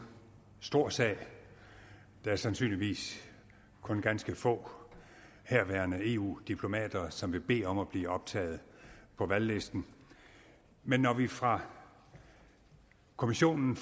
stor sag der er sandsynligvis kun ganske få herværende eu diplomater som vil bede om at blive optaget på valglisten men når vi fra kommissionen